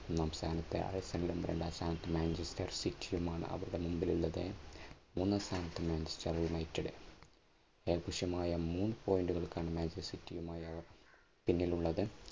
ഒന്നാം സ്ഥാനത്ത് ആൽഫ്രണ്ടും രണ്ടാം സ്ഥാനത്ത് മാഞ്ചസ്റ്റർ സിറ്റിയുമാണ് അവരുടെ മുമ്പിൽ ഉള്ളത്. മൂന്നാം സ്ഥാനത്ത്മാഞ്ചസ്റ്റർ യുണൈറ്റഡ് ഏകപക്ഷീയമായ മൂന്നു point കൾക്ക് ആണ് മാഞ്ചസ്റ്റർ സിറ്റിയുമായി അവർ പിന്നിലുള്ളത്.